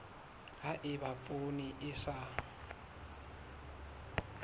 ha eba poone e sa